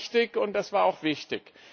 Das war richtig und das war auch wichtig.